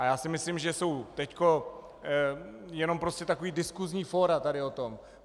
A já si myslím, že jsou teď jenom prostě taková diskusní fóra tady o tom.